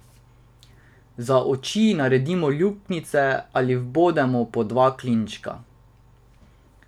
Za oči naredimo luknjice ali vbodemo po dva klinčka.